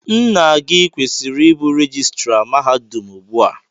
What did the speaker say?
Nna gị kwesịrị ịbụ rejistra mahadum ugbu a.